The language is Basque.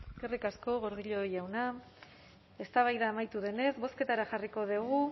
eskerrik asko gordillo jauna eztabaida amaitu denez bozketara jarriko dugu